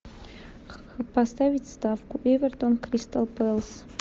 поставить ставку эвертон кристал пэлас